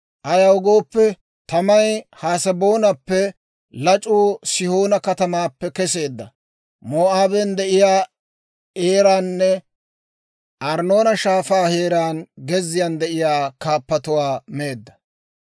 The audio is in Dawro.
Ayaw gooppe, tamay Haseboonappe, lac'uu Sihoona katamaappe keseedda; Moo'aaben de'iyaa Eeranne Arnnoona Shaafaa heeraan gezziyaan de'iyaa kaappatuwaa meedda.